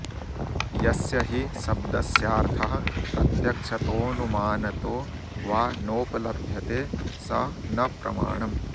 यस्य हि शब्दस्यार्थः प्रत्यक्षतोऽनुमानतो वा नोपलभ्यते स न प्रमाणम्